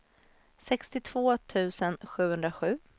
sextiotvå tusen sjuhundrasju